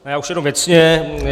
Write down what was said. Já už jenom věcně.